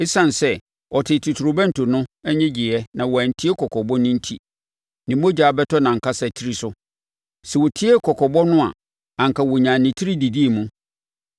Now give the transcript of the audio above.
Esiane sɛ ɔtee totorobɛnto no nnyegyeeɛ na wantie kɔkɔbɔ no enti, ne mogya bɛbɔ nʼankasa tiri so. Sɛ ɔtiee kɔkɔbɔ no a, anka ɔnyaa ne tiri didii mu.